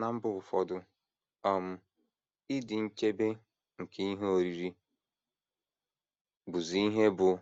Ná mba ụfọdụ, um ịdị nchebe nke ihe oriri bụzi ihe bụ́